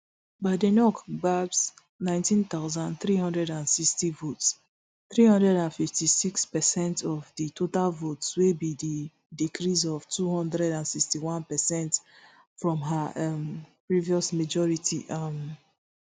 badenoch gbab nineteen thousand, three hundred and sixty votes three hundred and fifty-six per cent of di total votes wey be di decrease of two hundred and sixty-one per cent from her um previous majority um